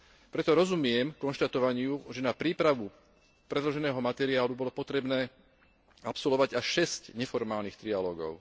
Preto rozumiem konštatovaniu, že na prípravu predloženého materiálu bolo potrebné absolvovať až šesť neformálnych trialógov.